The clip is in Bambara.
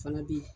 Fana bɛ yen